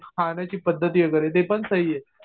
खाण्याची पद्धती वगैरे ते पण सही आहे.